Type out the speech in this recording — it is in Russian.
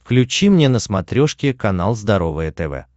включи мне на смотрешке канал здоровое тв